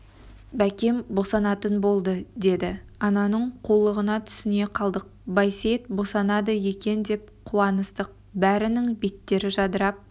бәкем босанатын болды деді ананың қулығына түсіне қалдық байсейіт босанады екен деп қуаныстық бәрінің беттері жадырап